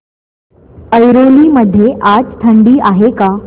ऐरोली मध्ये आज थंडी आहे का